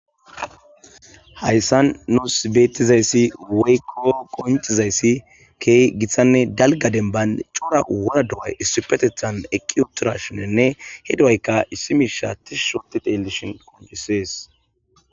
hayssan nu sibeetizayssi weyko qoncizayssi key githanne dalgadenban cora wora do7ay issipetethan eqqi utora shinenne he dowayka issimi shaa tih shoti tellishin qoncisees